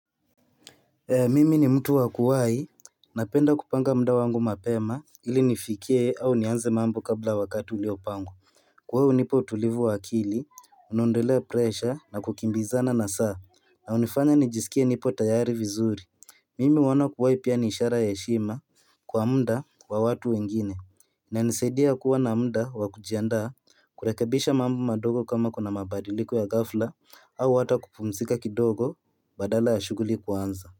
Mimi ni mtu wa kuwahi, napenda kupanga muda wangu mapema ili nifikie au nianze mambo kabla wakati uliopangwa. Kwa hii hunipa utulivu wa akili, huniondolea presha na kukimbizana na saa na hunifanya nijisikie nipo tayari vizuri Mimi huona kuwahi pia ni ishara ya heshima kwa muda wa watu wengine. Inanisaidia kuwa na muda wa kujiandaa, kurekebisha mambo madogo kama kuna mabadiliko ya ghafla, au hata kupumzika kidogo badala ya shughuli kuanza.